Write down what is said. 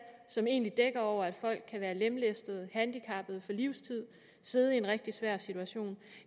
som egentlig dækker over at folk kan være lemlæstede handicappede for livstid og sidde i en rigtig svær situation